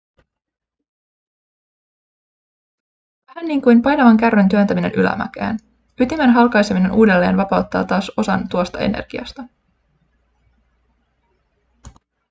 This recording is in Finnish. vähän niin kuin painavan kärryn työntäminen ylämäkeen ytimen halkaiseminen uudelleen vapauttaa taas osan tuosta energiasta